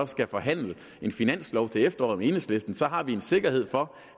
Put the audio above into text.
skal forhandle en finanslov til efteråret med enhedslisten så har vi en sikkerhed for